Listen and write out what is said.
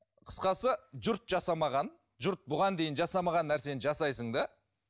қысқасы жұрт жасамаған жұрт бұған дейін жасамаған нәрсені жасайсың да